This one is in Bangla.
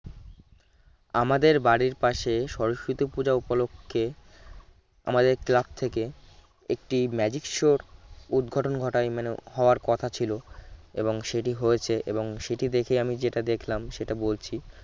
আমাদের বাড়ির পাশে সরস্বতী পূজা উপলক্ষে আমাদের ক্লাব থেকে একটি magic show র উদ্ঘটন ঘটায় মানে হওয়ার কথা ছিল এবং সেটি হয়েছে এবং সেটি দেখে আমি যেটা দেখলাম সেটা বলছি